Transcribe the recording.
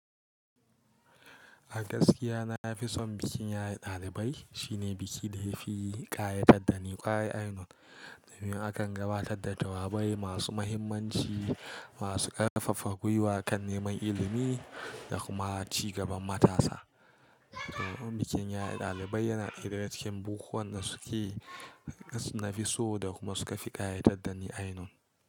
A gaskiya na fi son bikin yaye dalibai. Shi ne biki da ya fi ƙayatar da ni ƙwarai ainun. Domin akan gabatar da jawabai masu mahimmanci, masu ƙarfafa gwiwa kan neman ilimi da kuma ci gaban matasa. To bikin yaye dalibai yana daya daga cikin bukukuwan da suke na fi so da kuma suka fi ƙayatar da ni ainun.